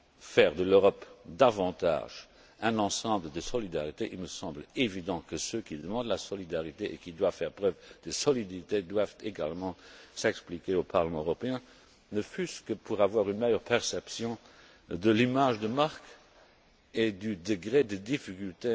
faire de l'Europe davantage un ensemble de solidarité, il me semble évident que ceux qui demandent la solidarité et qui doivent faire preuve de solidité doivent également s'expliquer au Parlement européen, ne fût ce que pour avoir une meilleure perception de l'image de marque et du degré de difficulté